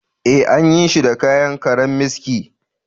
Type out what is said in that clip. Ee, an yi shi da kayan karammiski